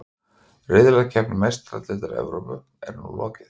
Riðlakeppni Meistaradeildar Evrópu er nú lokið.